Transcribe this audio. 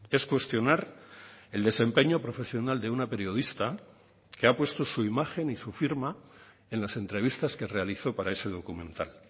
es cuestionar el desempeño profesional de una periodista que ha puesto su imagen y su firma en las entrevistas que realizó para ese documental